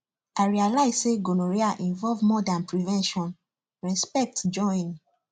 i realize say gonorrhea involve more than prevention respect join